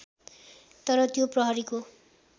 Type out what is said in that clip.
तर त्यो प्रहरीको